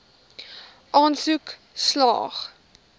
aansoek slaag